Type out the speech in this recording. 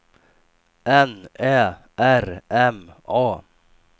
N Ä R M A